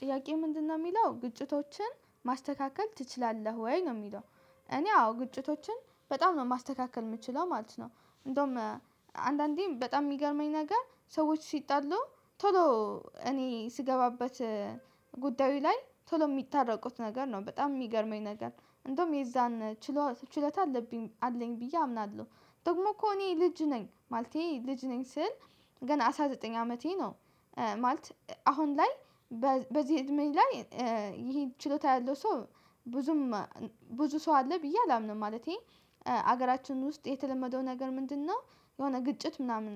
ጥያቄ ምንድነው የሚለው ግጭቶችን ማስተካከል ትችላለህ ወይ ነው የሚለው? እኔ አዎ ግጭቶችን በጣም ነው ማስተካከል የምችለው ማለት ነው። እንደውም አንዳንዴም በጣም የሚገርመኝ ነገር ሰዎች ሲጣሉ ቶሎ እኔ ስገባበት ጉዳዩ ላይ ቶሎ የሚታረቁት ነገር ነው በጣም የሚገርመኝ ነገር እንደውም የዛን ችሎ ችሎታ አለብኝ አለኝ ብዬ አምናለሁ። ደግሞ እኮ እኔ ልጅ ነኝ ማለቴ ልጅ ነኝ ስል ገና አስራ ዘጠኝ አመቴ ነው። ማለት አሁን ላይ በዚህ እድሜ ላይ ይሄ ችሎታ ያለው ሰው ብዙም ብዙ ሰው አለ ብዬ አላምንም። ማለቴ ሀገራችን ውስጥ የተለመደው ነገር ምንድነው? የሆነ ግጭት ምናምን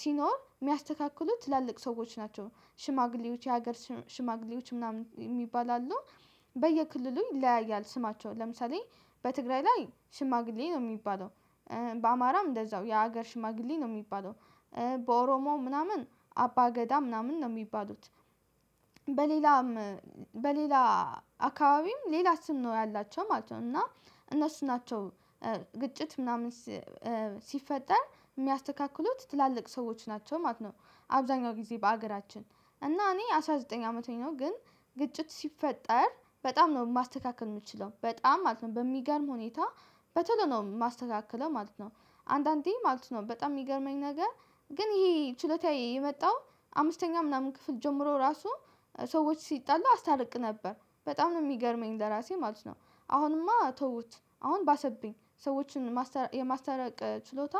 ሲኖር የሚያስተካክሉት ትላልቅ ሰዎች ናቸው ሽማግሌዎች የሀገር ሽማግሌዎች ምናምን የሚባላሉ። በየክልሉ ይለያያል ስማቸው ለምሳሌ በትግራይ ላይ ሽማግሌ ነው የሚባለው። በአማራም እንደዛው የሀገር ሽማግሌ ነው የሚባለው። በኦሮሞ ምናምን አባ ገዳ ምናምን ነው የሚባሉት። በሌላም በሌላ አካባቢም ሌላ ስም ነው ያላቸው ማለት ነው። እና እነሱ ናቸው ግጭት ምናምን ሲፈጠር የሚያስተካክሉት ትላልቅ ሰዎች ናቸው ማለት ነው። አብዛኛው ጊዜ በአገራችን እና እኔ አስራ ዘጠኝ አመቴ ነው ግን ግጭት ሲፈጠር በጣም ነው ማስተካከል የምችለው በጣም ማለት ነው በሚገርም ሁኔታ በቶሎ ነው የማስተካከለው ማለት ነው። አንዳንዴ ማለት ነው በጣም የሚገርመኝ ነገር ግን ይሄ ችሎታ የመጣው አምስተኛ ምናምን ክፍል ጀምሮ ራሱ ሰዎች ሲጣሉ አስታርቅ ነበር በጣም ነው የሚገርመኝ ለራሴ ማለት ነው። አሁንማ ተውት አሁን ባሰብኝ ሰዎችን የማስተረቅ ችሎታ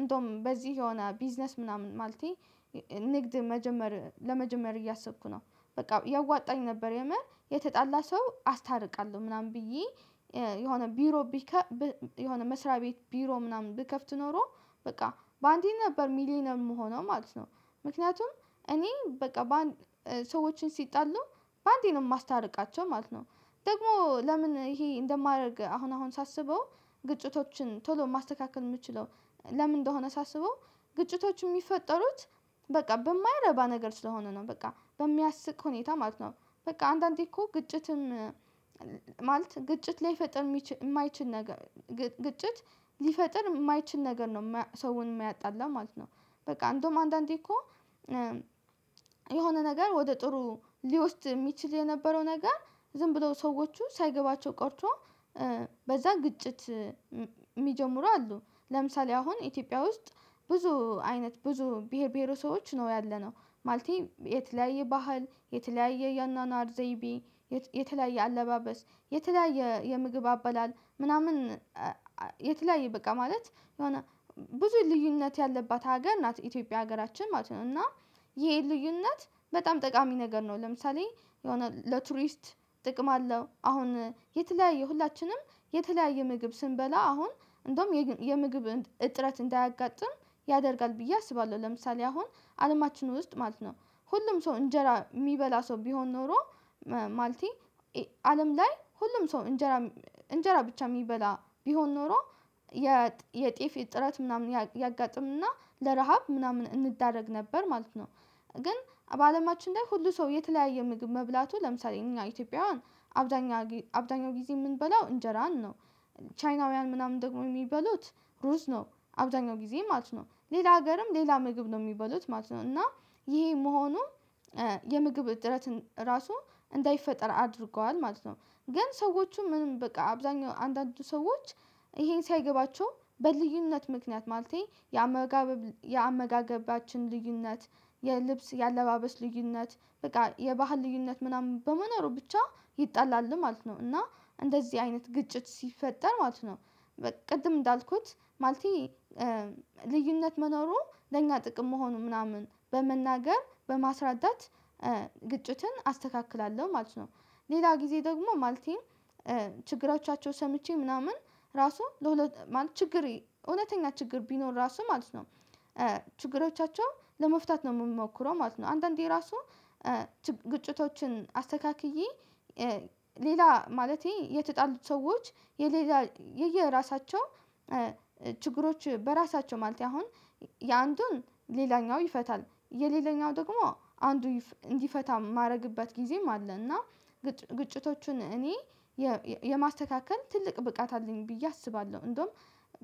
እንደውም በዚህ የሆነ ቢዝነስ ምናምን ማለቴ ንግድ መጀመር ለመጀመር እያሰብኩ ነው። በቃ ያዋጣኝ ነበር የምር የተጣላ ሰው አስታርቃለሁ ምናምን ብዬ የሆነ ቢሮ ቢከ የሆነ መስሪያ ቤት ቢሮ ምናምን ብከፍት ኖሮ በቃ በአንዴ ነበር ሚሊየነር የምሆነው ማለት ነው። ምክንያቱም እኔ በቃ ሰዎችን ሲጣሉ በአንዴ ነው የማስታርቃቸው ማለት ነው። ደግሞ ለምን ይሄ እንደማደርግ አሁን አሁን ሳስበው ግጭቶችን ቶሎ ማስተካከል የምችለው ለምን እንደሆነ ሳስበው ግጭቶች የሚፈጠሩት በቃ በማይረባ ነገር ስለሆነ ነው በቃ በሚያስቅ ሁኔታ ማለት ነው። በቃ አንዳንዴ እኮ ግጭትን ማለት ግጭት ላይፈጥር የማይችል ነገር ግጭት ሊፈጥር የማይችል ነገር ነው ሰውን የሚያጣላ ማለት ነው። በቃ እንደውም አንዳንዴ እኮ የሆነ ነገር ወደ ጥሩ ሊወስድ የሚችል የነበረው ነገር ዝም ብለው ሰዎቹ ሳይገባቸው ቀርቶ በዛ ግጭት የሚጀምሩ አሉ። ለምሳሌ አሁን ኢትዮጵያ ውስጥ ብዙ አይነት ብዙ ብሄር ብሄረ ሰቦች ነው ያለነው ማለቴ የተለያየ ባህል የተለያየ የአኗኗር ዘይቤ የተለያየ አለባበስ የተለያየ የምግብ አበላል ምናምን የተለያየ በቃ ማለት የሆነ ብዙ ልዩነት ያለባት ሀገር ናት ኢትዮጵያ ሀገራችን ማለት ነው። እና ይሄ ልዩነት በጣም ጠቃሚ ነገር ነው ለምሳሌ የሆነ ለቱሪስት ጥቅም አለው አሁን የተለያየ ሁላችንም የተለያየ ምግብ ስንበላ አሁን እንደውም የምግብ እጥረት እንዳያጋጥም ያደርጋል ብዬ አስባለሁ። ለምሳሌ አሁን አለማችን ውስጥ ማለት ነው ሁሉም ሰው እንጀራ የሚበላ ሰው ቢሆን ኖሮ ማለቴ አለም ላይ ሁሉም ሰው እንጀራ እንጀራ ብቻ የሚበላ ቢሆን ኖሮ የጤፍ እጥረት ምናምን ያጋጥምና ለረሃብ ምናምን እንዳረግ ነበር ማለት ነው። ግን በአለማችን ላይ ሁሉ ሰው የተለያየ ምግብ መብላቱ ለምሳሌ እኛ ኢትዮጵያውያን አብዛኛ አብዛኛው ጊዜ የምንበላው እንጀራን ነው ቻይናውያን ምናምን ደግሞ የሚበሉት ሩዝ ነው አብዛኛው ጊዜ ማለት ነው ሌላ አገርም ሌላ ምግብ ነው የሚበሉት ማለት ነው እና ይሄ መሆኑ የምግብ እጥረት ራሱ እንዳይፈጠር አድርጓል ማለት ነው። ግን ሰዎቹ ምንም በቃ አብዛኛው አንዳንዱ ሰዎች ይሄን ሳይገባቸው በልዩነት ምክንያት ማለቴ የአመጋገባችን ልዩነት የልብስ የአለባበስ ልዩነት በቃ የባህል ልዩነት ምናምን በመኖሩ ብቻ ይጣላል ማለት ነው እና እንደዚህ አይነት ግጭት ሲፈጠር ማለት ነው በቃ ቅድም እንዳልኩት ማለቴ ልዩነት መኖሩ ለእኛ ጥቅም መሆኑ ምናምን በመናገር በማስረዳት ግጭትን አስተካክላለሁ ማለት ነው። ሌላ ጊዜ ደግሞ ማለቴን ችግሮቻቸው ሰምቼ ምናምን ራሱ ለሁለት ማለት ችግሬ እውነተኛ ችግር ቢኖር ራሱ ማለት ነው ችግሮቻቸው ለመፍታት ነው የምሞክረው ማለት ነው። አንዳንዴ ራሱ ግጭቶችን አስተካክዬ ሌላ ማለቴ የተጣሉት ሰዎች የሌላ የየራሳቸው ችግሮች በራሳቸው ማለቴ አሁን የአንዱን ሌላኛው ይፈታል የሌላኛው ደግሞ አንዱ እንዲፈታ ማደርግበት ጊዜም አለ። እና ግጭቶቹን እኔ የማስተካከል ትልቅ ብቃት አለኝ ብዬ አስባለሁ። እንደውም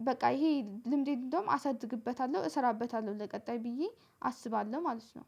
በቃ ይሄ ልምዴን እንደውም አሳድግበታለሁ እሰራበታለሁ ለቀጣይ ብዬ አስባለሁ ማለት ነው።